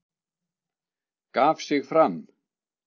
Gaf sig fram